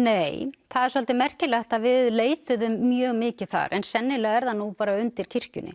nei það er svolítið merkilegt að við leituðum mjög mikið þar en sennilega er það nú bara undir kirkjunni